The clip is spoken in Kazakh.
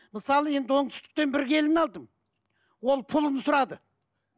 мысалы енді оңтүстіктен бір келін алдым ол пұлын сұрады